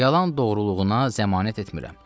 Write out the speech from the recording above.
Yalan doğruluğuna zəmanət etmirəm.